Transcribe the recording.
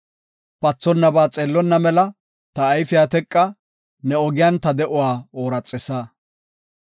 Pathonnaba xeellonna mela, ta ayfeta teqa; ne ogiyan ta de7uwa ooraxisa.